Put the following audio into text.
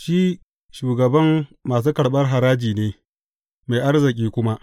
Shi shugaban masu karɓar haraji ne, mai arziki kuma.